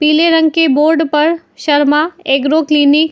पीले रंग के बोर्ड पर शर्मा एग्रो क्लिनिक --